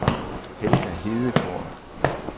Helga Hedegaard